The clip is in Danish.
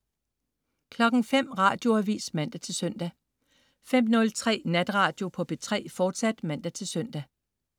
05.00 Radioavis (man-søn) 05.03 Natradio på P3, fortsat (man-søn)